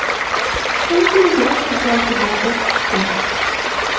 Chunki yosh futbolchilar o‘sishi kerak.